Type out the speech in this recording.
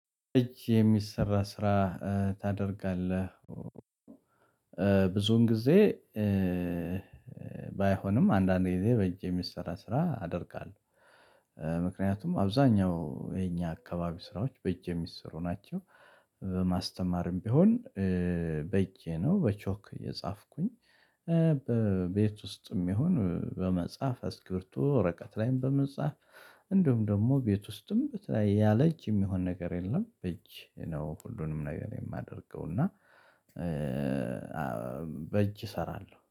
እጅ የሚሰራ ስራ ታደርጋለህ ብዙን ጊዜ ባይሆንም አንዳንድ ግዜ በእጅ የሚሰራ ስራ አደርጋለሁ። ምክንያቱም አብዛኛው የኛ አካባቢ ስራዎች በእጅ የሚሰሩ ናቸው። በማስተማርም ቢሆን በእጄ ነው በቾክ እየጻፍኩኝ በቤት ውስጥም ይሁን በመጽሐፍ አስክብርቶ ወረቀት ላይም በመጻፍ። እንደውም ደግሞ ቤት ውስጥም በተለይ ያለእጅ የሚሆን ነገር የለም። እጅ ነው ሁሉንም ነገር የማደርገው። እና በእጅ እሰራለሁ